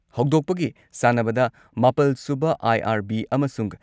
ꯍꯧꯗꯣꯛꯄꯒꯤ ꯁꯥꯟꯅꯕꯗ ꯃꯥꯄꯜ ꯁꯨꯕ ꯑꯥꯏ.ꯑꯥꯔ.ꯕꯤ ꯑꯃꯁꯨꯡ